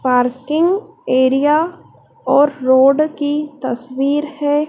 Parking area और road की तस्वीर है।